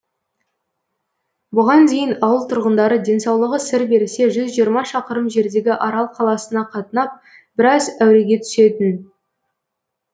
бұған дейін ауыл тұрғындары денсаулығы сыр берсе жүз жиырма шақырым жердегі арал қаласына қатынап біраз әуреге түсетін